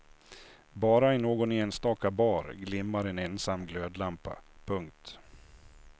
Bara i någon enstaka bar glimmar en ensam glödlampa. punkt